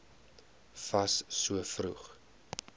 fas so vroeg